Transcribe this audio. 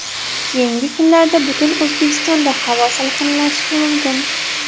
Keyingi kunlarda butun O‘zbekistonda havo salqinlashishi mumkin.